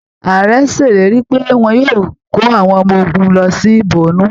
Ààrẹ ṣèlérí pé wọn yóò kó awọn ọmọ ogunlọ sí Bornu